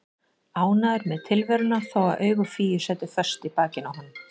Ánægður með tilveruna þó að augu Fíu sætu föst í bakinu á honum.